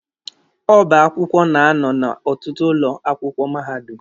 Ọba akwụkwọ na-anọ n'ọtụtụ ụlọ akwụkwọ mahadum.